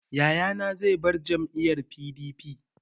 Yayana zai bar jam'iyyar PDP.